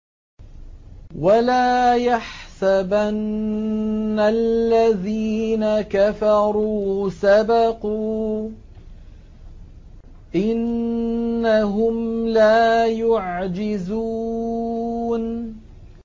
وَلَا يَحْسَبَنَّ الَّذِينَ كَفَرُوا سَبَقُوا ۚ إِنَّهُمْ لَا يُعْجِزُونَ